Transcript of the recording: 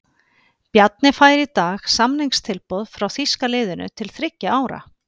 Bjarni fær í dag samningstilboð frá þýska liðinu til þriggja ára.